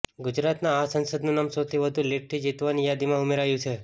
ગુજરાતના આ સાંસદનું નામ સૌથી વધુ લીડથી જીતવાની યાદીમાં ઉમેરાયું છે